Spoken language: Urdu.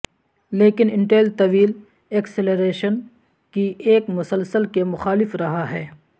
لیکن انٹیل طویل ایکسلریشن کی ایک مسلسل کے مخالف رہا ہے